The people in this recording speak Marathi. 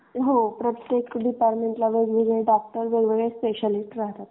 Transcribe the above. हो प्रत्येक डिपार्टमेंटला वेगवेगळे डॉक्टर वेगवेगळे स्पेशलिस्ट राहतात.